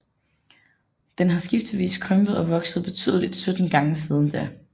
Den har skiftevis krympet og vokset betydeligt sytten gange siden da